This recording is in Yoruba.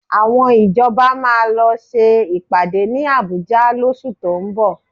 Àwọn ìjọba máa lọ ṣe ìpàdé ní Àbújá lóṣù tó ń bọ̀